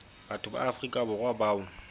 batho ba afrika borwa bao